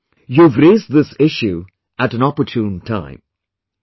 Shveta ji, you have raised this issue at an opportune time